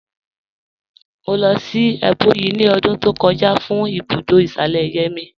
Mọ̀ lọ́ sí Ebonyi ní ọ̀dún tó kọ̀jà fún ibùdó ìṣalẹ̀yẹ̀ mí.